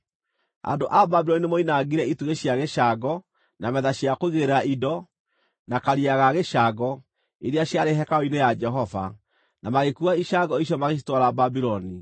Andũ a Babuloni nĩmoinangire itugĩ cia gĩcango, na metha cia kũigĩrĩra indo, na Karia ga gĩcango, iria ciarĩ hekarũ-inĩ ya Jehova, na magĩkuua icango icio magĩcitwara Babuloni.